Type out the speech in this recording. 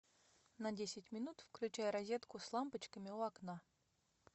на десять минут включай розетку с лампочками у окна